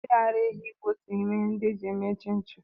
Mmiri ara ehi bụ otu n'ime ihe ndi eji eme chinchin.